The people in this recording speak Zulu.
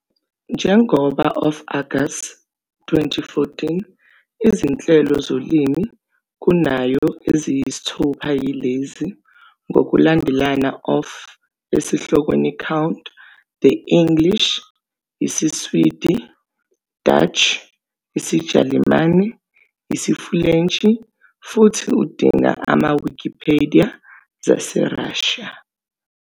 Njengoba of August 2014, izinhlelo zolimi kunayo eziyisithupha yilezi, ngokulandelana of esihlokweni count, the English, isiSwidi, Dutch, isiJalimane, isiFulentshi, futhi udinga Ama-Wikipedia zaseRussia.